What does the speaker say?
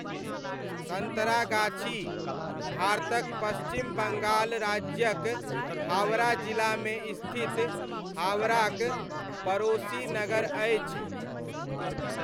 सन्तरागाछी, भारतक पश्चिम बङ्गाल राज्यक हावड़ा जिलामे स्थित हावड़ाक, पड़ोसी नगर अछि।